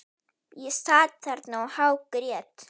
Ég sat þarna og hágrét.